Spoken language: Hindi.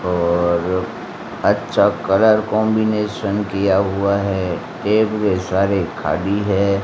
और अच्छा कलर कॉन्बिनेशन किया हुआ है एक खाली है।